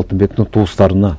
алтынбектің туыстарына